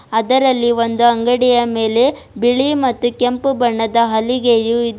ಅದರಲ್ಲಿ ಒಂದು ಅಂಗಡಿಯ ಮೇಲೆ ಬಿಳಿ ಮತ್ತು ಕೆಂಪು ಬಣ್ಣದ ಹಲಿಗೆಯೂ ಇದೆ.